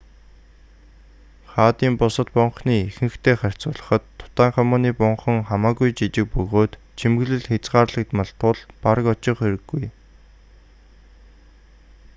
хаадын бусад бунханы ихэнхитэй харьцуулахад тутанхамуны бунхан хамаагүй жижиг бөгөөд чимэглэл хязгаарлагдмал тул бараг очих хэрэггүй